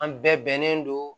An bɛɛ bɛnnen don